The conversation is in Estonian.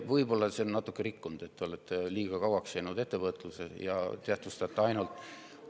Võib-olla on natuke rikkunud see, et te olete liiga kauaks ettevõtlusse jäänud ja tähtsustate ainult …